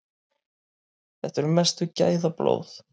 Þetta eru mestu gæðablóð.